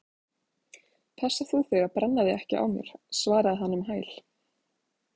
Passa þú þig að brenna þig ekki á mér- svaraði hann um hæl.